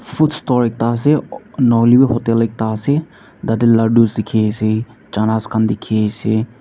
food store ekta asey nahoilebi hotel ekta asey tate ladoos dekhi asey channas khan dekhi asey.